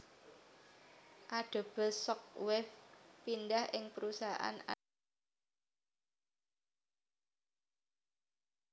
Adobe Shockwave pindah ing perusahaan Adobe Systems ing rong ewu limo